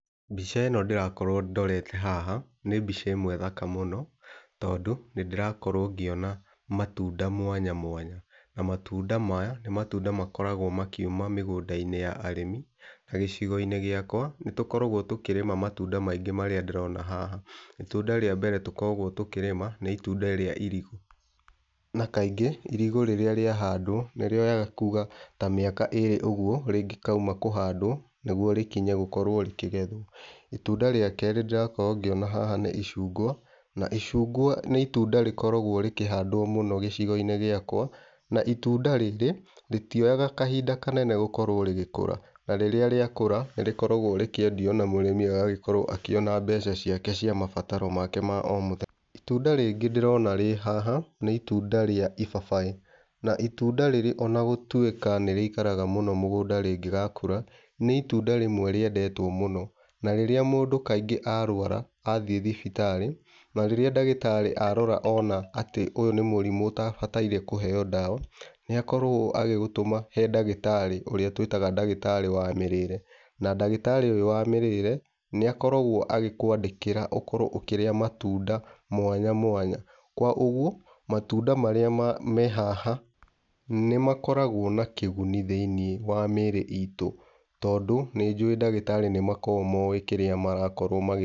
Mbica ĩno ndĩrakorwo ndorete haha nĩ mbica ĩmwe thaka mũno, tondũ nĩ ndĩrakorwo ngĩona matunda mwanya mwanya. Na matunda maya nĩ matunda makoragwo makiuma mĩgũnda-inĩ ya arĩmi. Ta gĩcigo-inĩ gĩakwa nĩ tũkoragwo tũkĩrĩma matunda maingĩ marĩa ndĩrona haha. Itunda rĩa mbere tũkoragwo tũkĩrĩma nĩ itunda rĩa irigũ. Na kaingĩ irigũ rĩrĩa rĩahandwo, nĩ rĩoyaga kuma ta mĩaka ĩĩrĩ ũguo rĩngĩkauma kũhandwo, nĩguo rĩkorwo rĩkĩgethwo. Itunda rĩa kerĩ ndĩrakorwo ngĩona haha nĩ icungwa. Na icungwa nĩ itunda rĩkoragwo rĩkĩhandwo mũno gĩcigo-inĩ gĩakwa na itunda rĩrĩ rĩtioyaga kahinda kanene gũkorwo rĩgĩkũra. Na rĩrĩa rĩakũra nĩ rĩkoragwo rĩkĩendio na mũrĩmi agagĩkorwo akĩona mbeca ciake cia mabataro ma o mũthenya. Itunda rĩngi ndĩrona rĩ haha, nĩ itunda rĩa ibabaĩ na itunda rĩrĩ ona gũtuĩka nĩ rĩikaraga mũno rĩngĩgakũra, nĩ itunda rĩmwe rĩendetwo mũno. Na rĩrĩa mũndũ kaingĩ arwara athiĩ thibiarĩ, na rĩrĩa ndagĩtarĩ arora ona atĩ ũyũ nĩ mũrimũ ũtabataire kũheyo ndawa, nĩ akoragwo agĩgũtũma he ndagĩtarĩ ũrĩa twĩtaga ndagĩtarĩ wa mĩrĩĩre. Ndagĩtarĩ ũyũ wa mĩrĩĩre nĩ akoragwo agĩkwandĩkĩra ũkorwo ũkĩrĩa matunda mwanya mwanya. Koguo matunda marĩa me haha nĩ makoragwo na kĩguni thĩiniĩ wa mĩĩrĩ itu. Tondũ nĩ njũwĩ ndagĩtarĩ nĩ makoragwo moĩ kĩrĩa marakorwo magĩ...